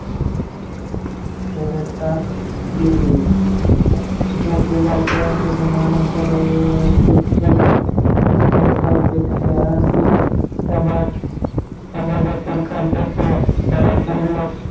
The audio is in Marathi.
सुरुवात केली जोतबाच्या निधनानंतरही वैयक्तिक सुखदुःखापेक्षाही समाजातील खालच्या स्तरातील लोक